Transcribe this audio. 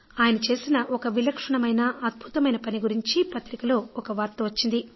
ఆయన చేసిన ఒక విలక్షణమైన అద్భుతమైన పని గురించి పత్రికలో ఒక వార్త వచ్చింది